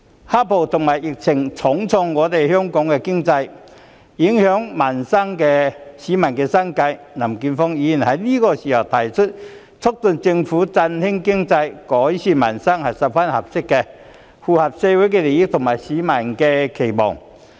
"黑暴"和疫情重創香港經濟，影響市民生計，林健鋒議員此刻提出促進政府振興經濟、改善民生，是十分合適的，符合社會利益和市民的期望。